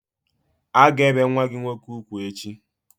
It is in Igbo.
A ga-ebe nwa gị nwoke ugwu echi!